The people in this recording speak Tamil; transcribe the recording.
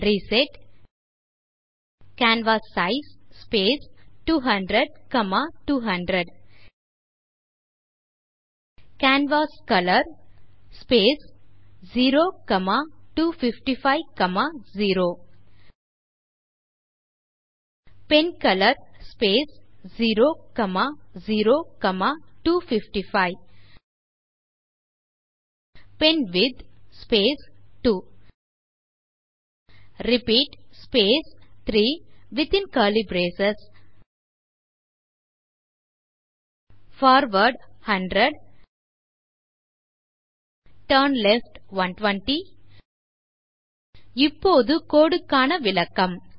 reset canvas size space 200200 canvas colour space 02550 pen colour space 00255 pen width space 2 repeat space 3 within curly brace forward 100 turn left 120 இப்போது code க்கான விளக்கம்